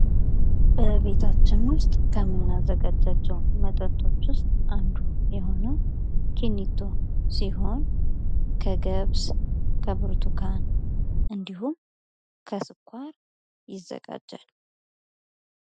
በቤታችን ውስጥ ከምናዘጋጃቸው መጠጦች ውስጥ አንዱ የሆነው ኪኔቶ ሲሆን ከገብስ ከብርቱካን እንዲሁም ከስኳር ይዘጋጃል።